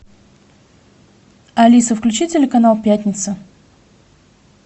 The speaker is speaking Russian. алиса включи телеканал пятница